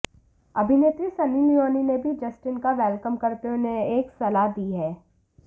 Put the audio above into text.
अभिनेत्री सन्नी लियोनी ने भी जस्टिन का वेलकम करते हुए उन्हें एक सलाह दी है